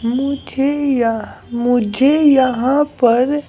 मुझे यहाँ मुझे यहाँ पर --